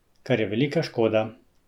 Kar je velika škoda.